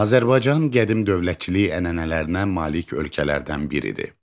Azərbaycan qədim dövlətçilik ənənələrinə malik ölkələrdən biridir.